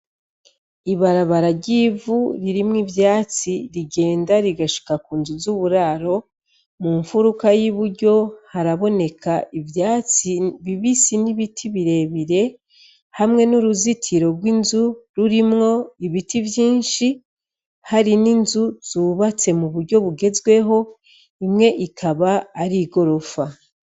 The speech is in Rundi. Ibarabara ryivu ririmwo ivyatsi rigenda rigashika ku nzu z'uburaro mu mfuruka y'i buryo haraboneka ivyatsi bibisi n'ibiti birebire hamwe n'uruzitiro rw'inzu rurimwo ibiti vyinshi hari n'inzu zubatse mu buryo bugezweho imwe ikaba ari i gorofa.